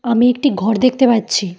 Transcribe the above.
আমি একটি ঘর দেখতে পাচ্ছি।